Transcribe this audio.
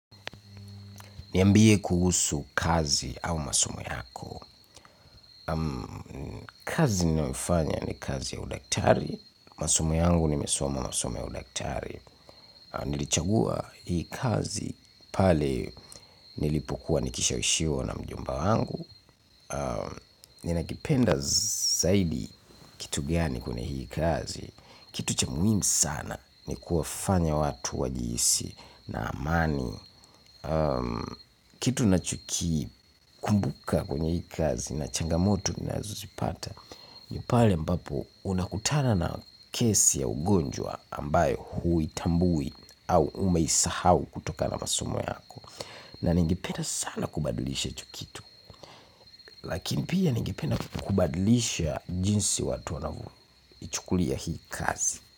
Niambie kuhusu kazi au masomo yako. Kazi ninayoifanya ni kazi ya udaktari. Kwa simu yangu nimesoma msomo ya udaktari. Nilichagua hii kazi pale nilipokuwa nikishawishiwa na mjomba wangu. Ninakipenda zaidi kitu gani kwenye hii kazi. Kitu cha muhimu sana ni kuwafanya watu wajihisi na amani. Kitu ninachoki kumbuka kwenye hii kazi na changamoto ninazozipata ni pale ambapo unakutana na kesi ya ugonjwa ambayo huitambui au umeisahau kutoka na masomo yako. Na ningependa sana kubadilisha hicho kitu. Lakini pia ningependa kubadilisha jinsi watu wanavyoichukulia hii kazi.